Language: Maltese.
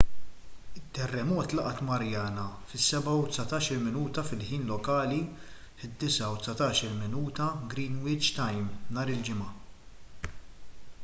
it-terremot laqat mariana fis-7:19 a.m. fil-ħin lokali 9:19 p.m. gmt nhar il-ġimgħa